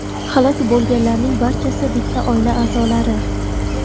Halok bo‘lganlarning barchasi bitta oila a’zolari.